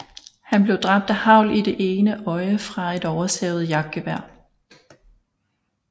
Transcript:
Han blev dræbt af hagl i det ene øje fra et oversavet jagtgevær